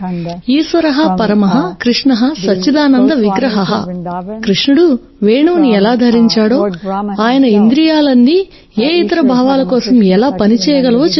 ఈశ్వరః పరమః కృష్ణః సచ్చిదానంద విగ్రహః కృష్ణుడు వేణువును ఎలా ధరించాడో ఆయన ఇంద్రియాలన్నీ ఏ ఇతర భావాల కోసం ఎలా పని చేయగలవో చెప్తుంది